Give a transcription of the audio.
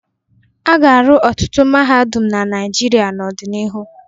A ga-arụ ọtụtụ mahadum na Naịjirịa n'ọdịnihu.